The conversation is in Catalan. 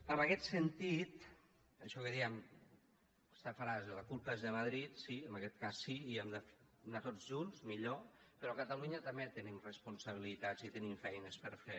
en aquest sentit això que dèem aquesta frase la culpa és de madrid sí en aquest cas sí i hem d’anar tots junts millor però a catalunya també tenim responsabilitats i tenim feines per fer